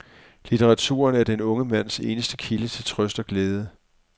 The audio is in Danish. Litteraturen er den unge mands eneste kilde til trøst og glæde.